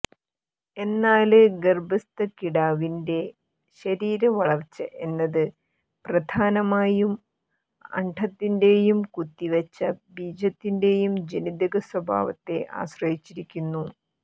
എന്നാല് ഗര്ഭസ്ഥ കിടാവിന്റെ ശരീരവളര്ച്ച എന്നത് പ്രധാനമായും അണ്ഡത്തിന്റെയും കുത്തിവച്ച ബീജത്തിന്റെയും ജനിതകസ്വഭാവത്തെ ആശ്രയിച്ചിരിക്കുന്നു